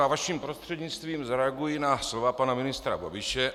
Já vaším prostřednictvím zareaguji na slova pana ministra Babiše.